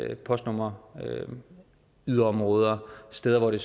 hjælpe postnumre yderområder steder hvor det